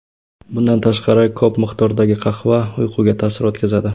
Bundan tashqari, ko‘p miqdordagi qahva uyquga ta’sir o‘tkazadi.